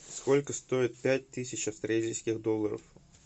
сколько стоит пять тысяч австралийских долларов